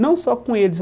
Não só com eles.